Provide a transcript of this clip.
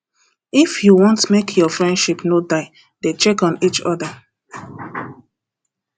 if you want make your friendship no die dey check on eachother